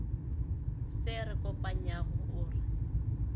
se re kopanyago o re